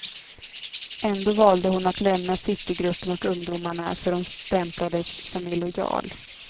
Ändå valde hon att lämna citygruppen och ungdomarna, för hon stämplades som illojal.